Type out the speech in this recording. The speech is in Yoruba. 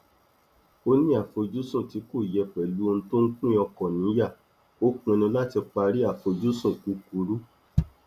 ó ní àfojúsùn tí kò yẹ pẹlú ohun tó ń pín ọkàn níyà ó pinnu láti parí àfojúsùn kúkurú